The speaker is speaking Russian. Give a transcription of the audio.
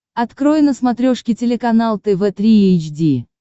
открой на смотрешке телеканал тв три эйч ди